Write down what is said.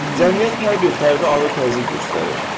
Cəmiyyət hər bir fərdə ağır təzyiq göstərir.